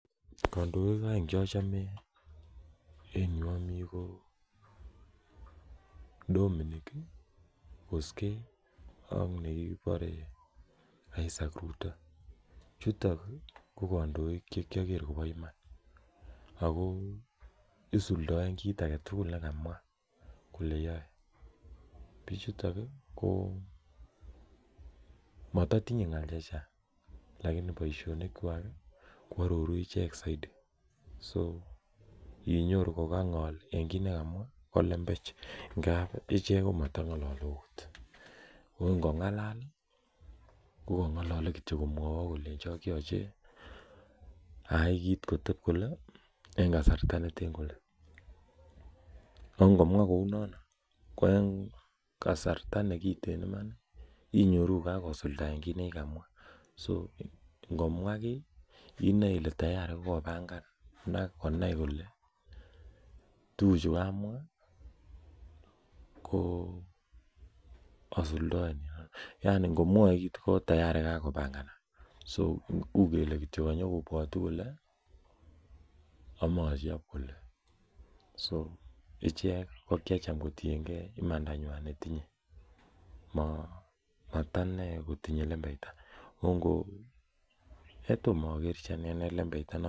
Kandoik aeng Che achame en yu amii ko Dominic Kosgei ak nekibore Isaac Ruto chuto ko kandoik Che kiager kobo iman ago isuldoen kit age tugul ne kamwa kole yoe bichuto ko moto tinye ngaal chechang lakini boisionik kwak ko aroru ichek soiti so inyoru ko ngol en kit ne kamwa ko lembech ngab ichek komata ngolole okot ago ngongalal ko kongolole Kityo kolenjok yoche ayai kit koteb kole en kasarta neten kole ago ngomwa kounoton ko en kasarta nekiten Iman inyoru koka kosuldaen kit nekikamwa so inoe ile ngomwa ki inoe ile tayari ko kopangan ak konai kole tuguchu kamwa ko asuldaen yaani ngomwoe kit ko tayari kakopanganak u kele kanyokobwotu kole amache achob kole so ichek ko kiacham kotienge imandanywa netinye mata inei kotinye lembeita Tom agerchi inei lembeita